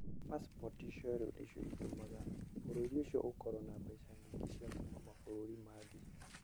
Pacipoti icio rĩu nĩcio itũmaga bũrũri ũcio ũkorũo na mbeca nyingĩ cia kuuma mabũrũri mangĩ.